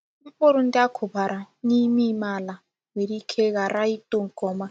Mkpụrụ ndị a kùbàrà n’íme íme àlà nwere ike ghara ịtọ nke ọma.